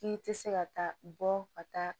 K'i tɛ se ka taa bɔ ka taa